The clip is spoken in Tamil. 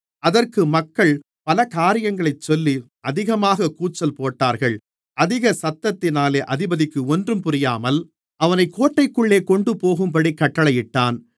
அதற்கு மக்கள் பல காரியங்களைச் சொல்லி அதிகமாகக் கூச்சல் போட்டார்கள் அதிக சத்தத்தினாலே அதிபதிக்கு ஒன்றும் புரியாமல் அவனைக் கோட்டைக்குள்ளே கொண்டுபோகும்படி கட்டளையிட்டான்